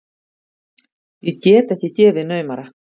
Ég get ekki gefið naumara.